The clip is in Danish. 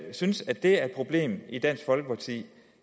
synes at det er et problem i dansk folkeparti